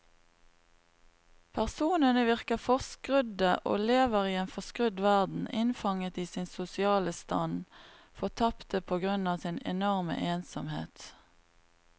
Personene virker forskrudde og lever i en forskrudd verden, innfanget i sin sosiale stand, fortapte på grunn av sin enorme ensomhet.